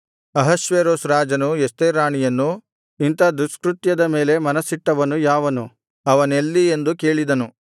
ಅಹಷ್ವೇರೋಷ್ ರಾಜನು ಎಸ್ತೇರ್ ರಾಣಿಯನ್ನು ಇಂಥ ದುಷ್ಕೃತ್ಯದ ಮೇಲೆ ಮನಸ್ಸಿಟ್ಟವನು ಯಾವನು ಅವನೆಲ್ಲಿ ಎಂದು ಕೇಳಿದನು